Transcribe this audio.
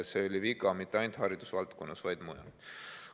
See oli viga mitte ainult haridusvaldkonnas, vaid laiemalt.